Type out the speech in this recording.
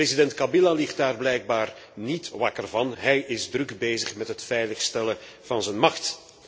En president Kabila ligt daar blijkbaar niet wakker van. Hij is druk bezig met het veiligstellen van zijn macht.